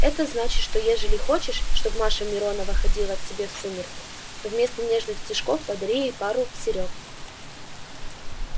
это значит что ежели хочешь чтоб маша миронова ходила к тебе в сумерки то вместо нежных стишков подари ей пару серёг